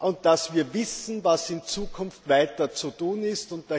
und dass wir wissen, was in Zukunft weiter zu tun ist.